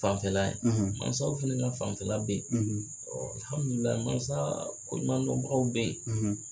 Fanfɛla mansaw fɛnɛ ka fanfɛla bɛ ye mansa koɲumandɔnbagaw bɛ ye.